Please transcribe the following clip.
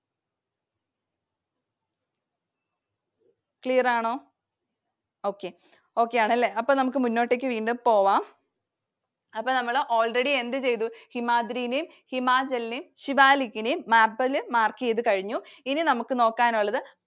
Clear ആണോ? Okay. Okay ആണല്ലേ. അപ്പൊ നമുക്ക് മുന്നോട്ടേക്ക് വീണ്ടും പോകാം. അപ്പോൾ നമ്മൾ already എന്തു ചെയ്‌തു? ഹിമാദ്രിനേം, ഹിമാചലിനെയും, ശിവാലികിനെയും Map ൽ mark ചെയ്‌തു കഴിഞ്ഞു. ഇനി നമുക്ക് നോക്കാനുള്ളത്